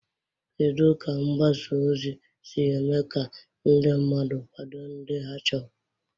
Kedu ka mgbasa ozi si eme ka ndị mmadụ kwado ndị ha chọrọ?